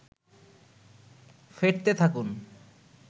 ফেটতে থাকুন